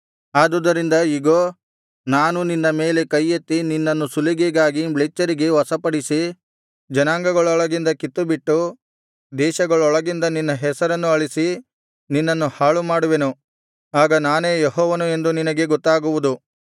ಆದುದರಿಂದ ಇಗೋ ನಾನು ನಿನ್ನ ಮೇಲೆ ಕೈಯೆತ್ತಿ ನಿನ್ನನ್ನು ಸುಲಿಗೆಗಾಗಿ ಮ್ಲೇಚ್ಛರಿಗೆ ವಶಪಡಿಸಿ ಜನಾಂಗಗಳೊಳಗಿಂದ ಕಿತ್ತುಬಿಟ್ಟು ದೇಶಗಳೊಳಗಿಂದ ನಿನ್ನ ಹೆಸರನ್ನು ಅಳಿಸಿ ನಿನ್ನನ್ನು ಹಾಳುಮಾಡುವೆನು ಆಗ ನಾನೇ ಯೆಹೋವನು ಎಂದು ನಿನಗೆ ಗೊತ್ತಾಗುವುದು